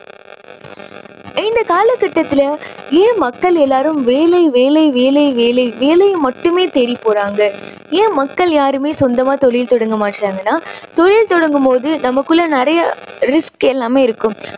இந்த காலக்கட்டத்துல ஏன் மக்கள் எல்லாரும் வேலை வேலை வேலை வேலை வேலையை மட்டுமே தேடிப் போறாங்க. ஏன் மக்கள் யாருமே சொந்தமா தொழில் தொடங்க மாட்டுறாங்கன்னா தொழில் தொடங்கும் போது நமக்குள்ள நிறைய risk எல்லாமே இருக்கும்.